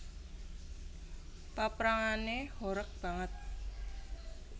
Paprangané horeg banget